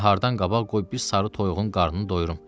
Nahardan qabaq qoy bir sarı toyuğun qarnını doyurum.